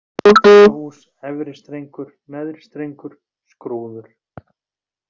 Goðdalahús, Efri-Strengur, Neðri-Strengur, Skrúður